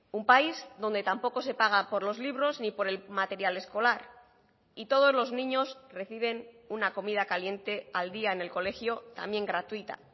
un país donde tampoco se paga por los libros ni por el material escolar y todos los niños reciben una comida caliente al día en el colegio también gratuita